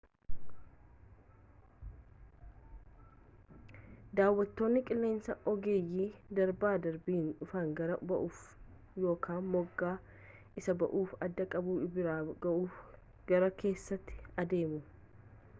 daawattoonni qilleensaa ogeeyyii darbanii darbanii dhufan gaara ba'uuf yookaan moggaa isa buufata addaa qabu bira ga'uuf gara keessaatti adeemu